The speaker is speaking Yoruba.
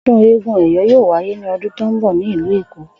O̩dún eégún Ẹyọ̀ yóò wáyé ní o̩dún tó ń bò̩ ní ìlú Èkó